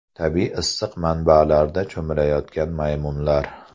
Tabiiy issiq manbalarda cho‘milayotgan maymunlar.